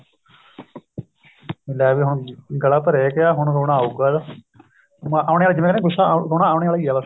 ਲੈ ਵੀ ਹੁਣ ਗਲਾ ਭਰਿਆ ਗਿਆ ਹੁਣ ਰੋਣਾ ਆਉਗਾ ਆਉਣੇ ਆਲਾ ਜਿਵੇਂ ਨਾ ਗੁੱਸਾ ਆਉਣੇ ਆਲਾ ਏ ਬੱਸ